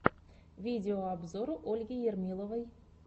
видеообзор ольги ермиловой